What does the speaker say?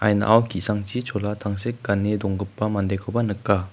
ki·sangchi chola tangsek gane donggipa mandekoba nika.